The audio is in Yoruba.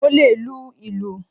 Mo le lu ìlù.